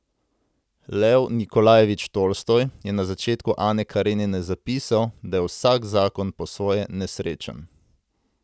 Lev Nikolajevič Tolstoj je na začetku Ane Karenine zapisal, da je vsak zakon po svoje nesrečen.